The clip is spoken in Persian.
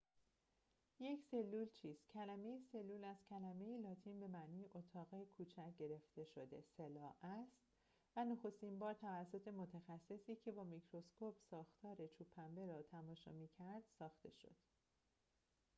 یک سلول چیست کلمه سلول از کلمه لاتین cella به معنی اتاق کوچک گرفته شده است و نخستین بار توسط متخصصی که با میکروسکوپ ساختار چوب پنبه را تماشا می‌کرد ساخته شد